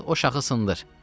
Çıx o şahı sındır.